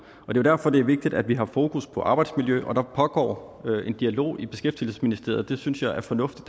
er jo derfor det er vigtigt at vi har fokus på arbejdsmiljø og der pågår en dialog i beskæftigelsesministeriet det synes jeg er fornuftigt